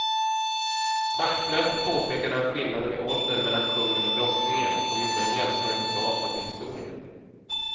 Taktlöst påpekade han skillnaden i ålder mellan kungen och drottningen och gjorde en jämförelse bakåt i historien.